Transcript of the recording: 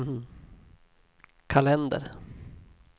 kalender